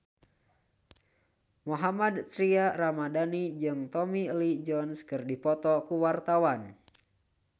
Mohammad Tria Ramadhani jeung Tommy Lee Jones keur dipoto ku wartawan